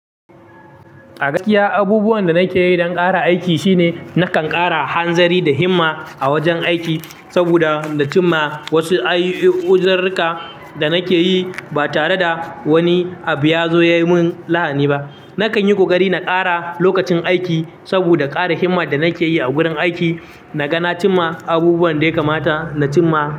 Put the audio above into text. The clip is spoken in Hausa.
A gaskiya abubuwan da nake yi don ƙara aiki shine nakan ƙara hanzari da himma a wajen aiki saboda, nacima wasu uziruruka da nake yi ba tare da wani abu ya zo ya yi min lahani ba. Nakan yi ƙoƙari na ƙara lokacin aiki saboda ƙara himma da nake yi a gurin aiki. Na ga na cimma, abubuwan da ya kamata na cimma.